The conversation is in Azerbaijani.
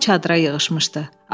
Hamı çadıra yığışmışdı.